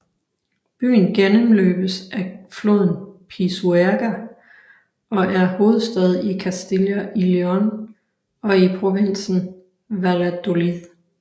Byen gennemløbes af floden Pisuerga og er hovedstad i Castilla y León og i provinsen Valladolid